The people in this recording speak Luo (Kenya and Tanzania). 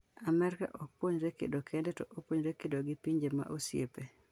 Amerka ok puonjore kedo kende, to opuonjore kedo gi pinje ma osiepe.